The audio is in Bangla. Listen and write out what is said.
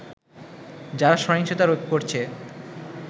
যারা সহিংসতা করছে